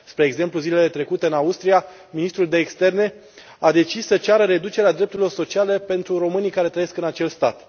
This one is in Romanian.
Spre exemplu, zilele trecute, în Austria, ministrul de externe a decis să ceară reducerea drepturilor sociale pentru românii care trăiesc în acel stat.